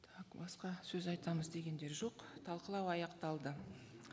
так басқа сөз айтамыз дегендер жоқ талқылау аяқталды